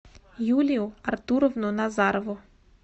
юлию артуровну назарову